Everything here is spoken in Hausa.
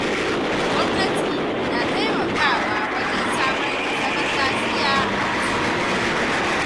Gwamnati na taimakawa wajen samar da zaman lafiya a wasu lokutan.